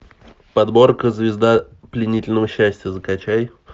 подборка звезда пленительного счастья закачай